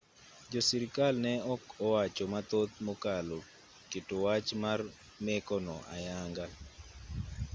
jo sirkal ne ok owacho mathoth mokalo keto wach mar meko no ayanga